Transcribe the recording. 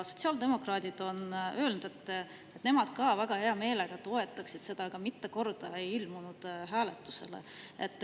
Sotsiaaldemokraadid on öelnud, et nemad ka väga hea meelega toetaksid seda, aga mitte kordagi ei ole nad ilmunud hääletusele.